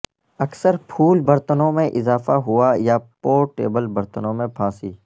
اکثر پھول برتنوں میں اضافہ ہوا یا پورٹیبل برتنوں پھانسی